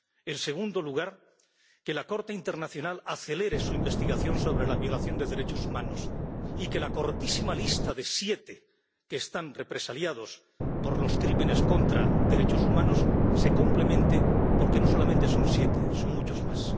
En segundo lugar, que la Corte Internacional acelere su investigación sobre la violación de derechos humanos y que la cortísima lista de siete personas que están represaliadas por crímenes contra los derechos humanos se complemente, porque no solamente son siete, son muchas más.